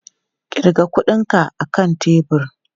Ƙirga kuɗinka a kan tebur!